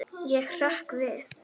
Ég hrökk við.